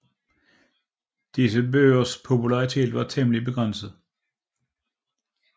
Disse bøgers popularitet var temmelig begrænset